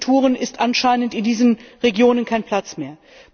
Für diese Kulturen ist anscheinend in diesen Regionen kein Platz mehr.